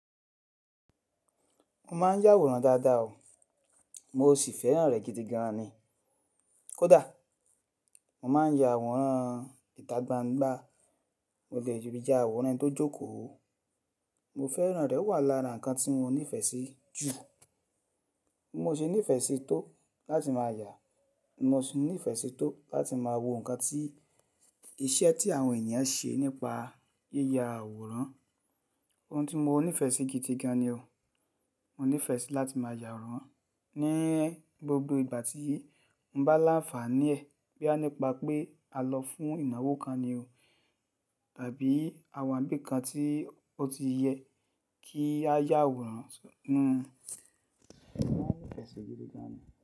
Mo ma n yàwòrán dáadáa o. Mo sì fẹ́ràn rẹ̀ gidigan ni. Kódà mo ma n ya àwòrán ìtagbangba, mo de lè ya àwòrán eni tó jókòó. Mo fẹ́ràn rẹ̀ o wà lára nǹkan tí mo nífẹ̀ẹ́ sí jù. Mo se nífẹ̀ẹ́ sí tó láti máa ya, ni mo se nífẹ̀ẹ́ sí tó láti máa wo nǹkan tí iṣẹ́ tí àwọn èniyan ṣe nípa yíya àwòrán. Ohun tí mo nífẹ̀ẹ́ sí gidigan ni o. Mo nífẹ̀ẹ́ sí láti máa yàwòrán ní gbogbo ìgbà tí mo bá láǹfààní ẹ̀, boya nípa pé a lọ fún ìnáwó kan ni o tàbí àwọn ibi kan tí ó ti yẹ kí a yàwòrán. Mo nífẹ̀ẹ́ sí gidigan ni.